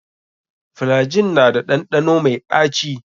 Flygin na da ɗanɗano mai ɗaci.